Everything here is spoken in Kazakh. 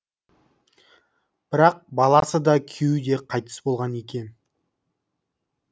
бірақ баласы да күйеуі де қайтыс болған екен